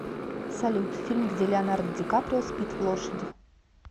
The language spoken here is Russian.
салют фильм где леонардо дикаприо спит в лошади